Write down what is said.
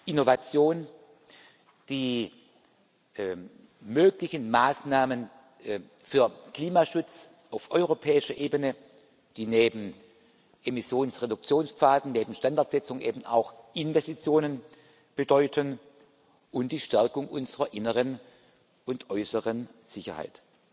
Innovation, die möglichen Maßnahmen für Klimaschutz auf europäischer Ebene, die neben Emissionsreduktionspfaden, neben Standardsetzung eben auch Investitionen bedeuten, und die Stärkung unserer inneren und äußeren Sicherheit.